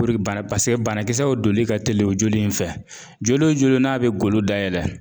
O de baara paseke banakisɛw doli ka teli o joli in fɛ. Joli in joli n'a be golo dayɛlɛ